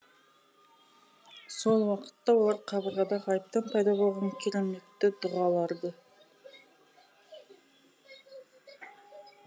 сол уақытта олар қабырғада ғайыптан пайда болған кереметті дұғаларды